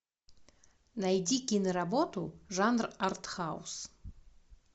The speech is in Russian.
найди киноработу жанр артхаус